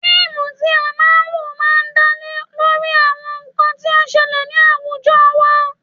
Fíìmù tí a máa ń wò máa ń dá lé lórí àwọn nǹkan tí ó ń ṣẹlẹ̀ ni awujọ wa.